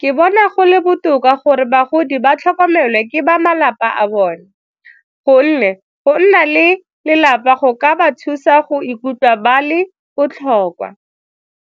Ke bona go le botoka gore bagodi ba tlhokomelwe ke ba malapa a bone gonne go nna le lelapa go ka ba thusa go ikutlwa ba le botlhokwa.